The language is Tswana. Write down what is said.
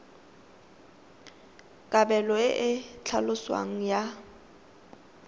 kabelo e e tlhaloswang ya